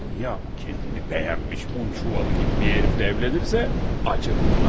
Dunya o özünü bəyənmiş un çuvalı kimi bir hərifi evlənərsə, heyif edərəm ona doğrusu.